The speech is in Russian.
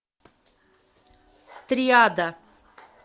триада